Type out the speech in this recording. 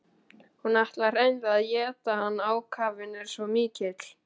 Hún ætlar hreinlega að éta hann, ákafinn er svo mikill.